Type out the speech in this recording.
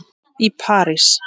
í París.